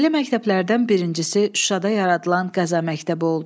Belə məktəblərdən birincisi Şuşada yaradılan Qəza məktəbi oldu.